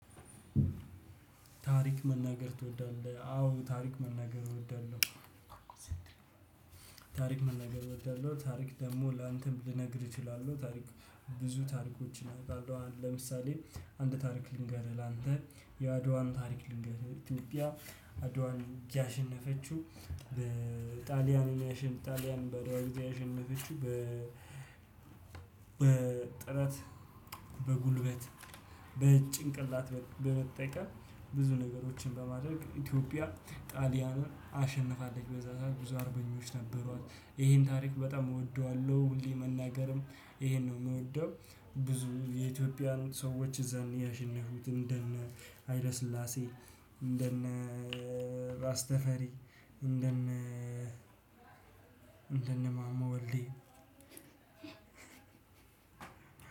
ታሪክ መናገር ትወዳለህ አዎ ታሪክ መናገር እወዳለሁ። ታሪክ መነገር እወዳለሁ። ታሪክ ደግሞ ላንተም ልነግር እችላለሁ። ታሪክ ብዙ ታሪኮችን አውቃለሁ። ለምሳሌ አንድ ታሪክ ልንገርህ ላንተ የአድዋን ታሪክ ልንገርህ። ኢትዮጵያ አድዋን ያሸነፈችው በጣሊያን ያሸነፍ ጣሊያን በአድዋ ያሸነፈችው በ በጥረት በጉልበት በጭንቅላት በመጠቀም ብዙ ነገሮችን በማድረግ ኢትዮጵያ ጣሊያንን አሸንፋለች በዛ ሰዓት ብዙ አርበኞች ነበሩ፣ ይሄን ታሪክ በጣም እወደዋለሁ፣ ሁሌ መናገርም ይሄን ነው የምወደው። ብዙ የኢትዮጵያን ሰዎች እዛኔ ያሸነፉት እንደነ ሀይለ ስላሴ እንደነ ራስ ተፈሪ፣ እንደነ እንደነ ወልዴ